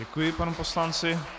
Děkuji panu poslanci.